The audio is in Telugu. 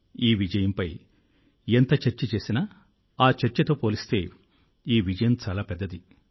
ఈ విజయంపై ఎంత చర్చ చేసినా ఆ చర్చతో పోలిస్తే ఈ విజయం చాలా పెద్దది